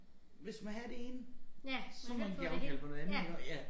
Hvis man have det ene så må man give afkald på noget andet iggå ja